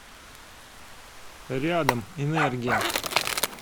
рядом энергия